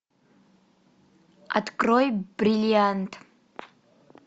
открой бриллиант